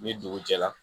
Ni dugu jɛra